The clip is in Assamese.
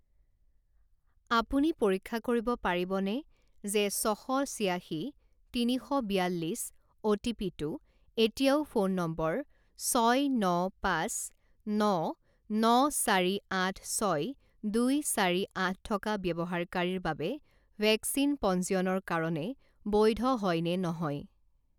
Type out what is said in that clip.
আপুনি পৰীক্ষা কৰিব পাৰিবনে যে ছশ ছিয়াশী তিনি শ বিয়াল্লিছ অ'টিপিটো এতিয়াও ফোন নম্বৰ ছয় ন পাঁচ ন ন চাৰি আঠ ছয় দুই চাৰি আঠ থকা ব্যৱহাৰকাৰীৰ বাবে ভেকচিন পঞ্জীয়নৰ কাৰণে বৈধ হয় নে নহয়?